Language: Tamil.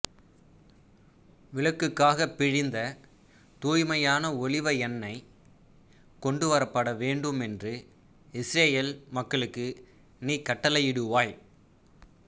விளக்குக்காகப் பிழிந்த தூய்மையான ஒலிவ எண்ணெய் கொண்டுவரப்பட வேண்டுமென்று இசுரயேல் மக்களுக்கு நீ கட்டளையிடுவாய்